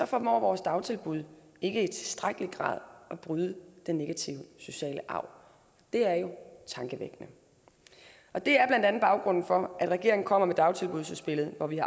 formår vores dagtilbud ikke i tilstrækkelig grad at bryde den negative sociale arv det er jo tankevækkende det er blandt andet baggrunden for at regeringen kommer med dagtilbudsudspillet hvor vi